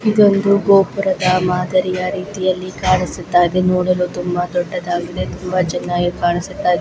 ಇದೊಂದು ಗೋಪುರದ ಪ್ರೀತಿಯ ಮಾದರಿಯ ಹಾಗೆ ಕಾಣಿಸುತ್ತಿದೆ ನೋಡಲು ತುಂಬಾ ದೊಡ್ಡದಾಗಿದೆ ತುಂಬಾ ಚೆನ್ನಾಗಿ ಕಾಣಿಸುತ್ತಾ ಇದೆ.